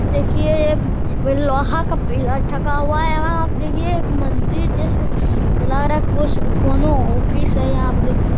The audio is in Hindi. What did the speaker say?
देखिये ये वे लोहा का पिलर ठोका हुआ है वहाँ पे देखिए एक मन्दिर जैसे लग रहा है कोसो कोनो ऑफिस है यहाँ पे देखिये --